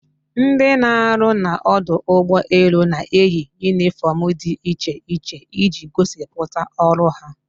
Ndị na-arụ na ọdọ ụgbọ elu na-eyi unifọmụ dị iche iche iji gosipụta ọrụ ha